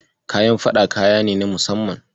Kayan faɗa kaya ne na musamman.